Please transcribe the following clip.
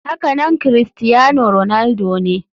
Hakanan crustiano ronaldo ne.